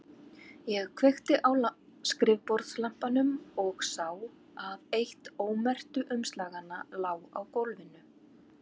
Ég kveikti á skrifborðslampanum og sá að eitt ómerktu umslaganna lá á gólfinu.